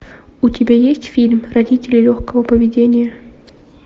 у тебя есть фильм родители легкого поведения